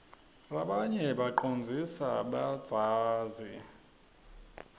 rabanye bacondzlsa badzazi